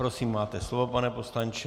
Prosím, máte slovo, pane poslanče.